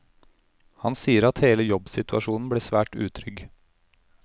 Han sier at hele jobbsituasjonen ble svært utrygg.